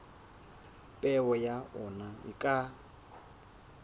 peo ya ona e ka